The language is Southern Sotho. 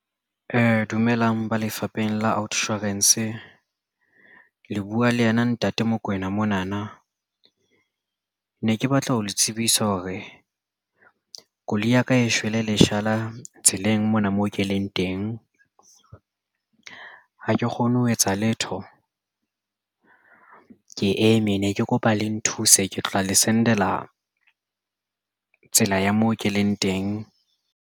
Dumelang ba lefapheng la Outsurance le buwa le ena Ntate Mokoena mona na ne ke batla ho le tsebisa hore koloi ya ka e shwele leshala tseleng mona mo ke leng teng ha ke kgone ho etsa letho ke eme ne ke kopa le nthuse ke tla le send-la tsela ya moo ke leng teng.